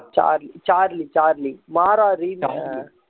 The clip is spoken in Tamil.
Charlie Charlie Charlie Maara remake